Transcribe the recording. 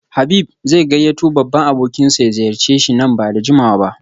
Habib zai gayyato babban abokinsa ya ziyarce shi nan ba da jimawa ba